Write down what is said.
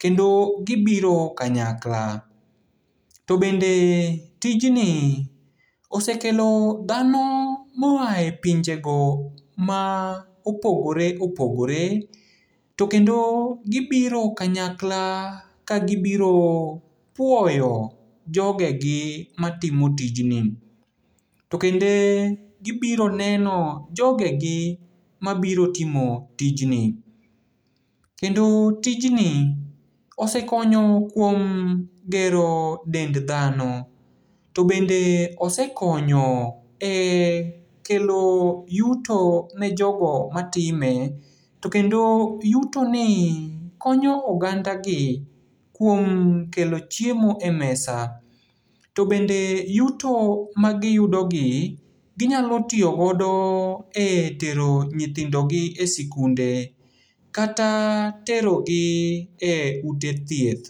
kendo gibiro kanyakla. To bende tijni osekelo dhano moae pinjego ma opogore opogore, to kendo gibiro kanyakla, kagibiro puoyo jogegi matimo tijni. To bende gibiro neno jogegi mabiro timo tijni. Kendo tijni osekonyo kuom gero dend dhano. To bende osekonyo e kelo yuto ne jogo matime, to kendo yutoni konyo ogandagi kuom kelo chiemo e mesa. To bende yuto magiyudogi ginyalo tiyogodo e tero nyithindogi e sikunde, kata terogi e ute thieth.